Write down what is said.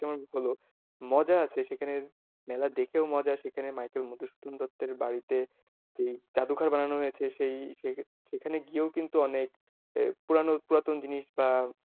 হলো মজা আছে সেখানে মেলা দেখেও মজা সেখানে মাইকেল মধুসূদন দত্তের বাড়িতে যেই জাদুঘর বানানো হয়েছে সেই সেখানে গিয়েও কিন্তু অনেক পুরানো পুরাতন জিনিস বা,